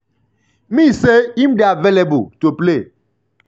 me say im um dey available to um play.”